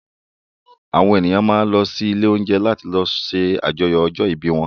Àwọn ènìyàn máa ń lọ ilé-oúnjẹ láti lọ ṣàjọyọ̀ ọjọ́-ìbí wọn.